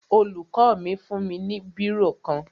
Olùkọ́ mi fún mi ní bírò kan